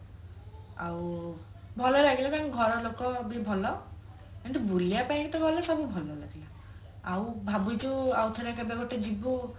ଆଉ ଭଲ ଲାଗିଲା ତାଙ୍କ ଘର ଲୋକ ବି ଭଲ କିନ୍ତୁ ବୁଲିବା ପାଇଁ ତ ଗଲେ ସବୁ ଭଲ ଲାଗେ ଆଉ ଭାବୁଛୁ ଆଉ ଥରେ କେବେ ଗୋଟେ ଯିବୁ